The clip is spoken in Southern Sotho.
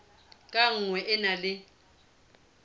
ka nngwe e na le